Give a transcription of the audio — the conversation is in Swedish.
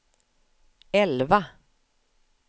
elva